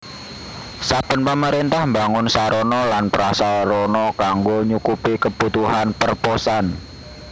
Saben pamaréntah mbangun sarana lan prasarana kanggo nyukupi kebutuhan perposan